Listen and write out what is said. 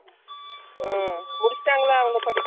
முடிச்சிட்டாங்கல்ல அவங்க படிப்ப முடிச்சிட்டாங்கல்ல அவங்க படிப்ப